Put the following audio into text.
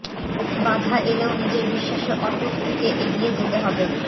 বাধা এলেও নিজের বিশ্বাসে অটুট থেকে এগিয়ে যেতে হবে